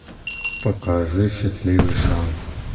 покажи счастливый шанс